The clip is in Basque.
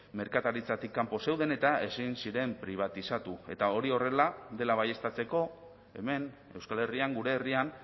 merkataritzatik kanpo zeuden eta ezin ziren pribatizatu eta hori horrela dela baieztatzeko hemen euskal herrian gure herrian